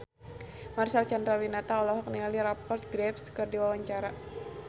Marcel Chandrawinata olohok ningali Rupert Graves keur diwawancara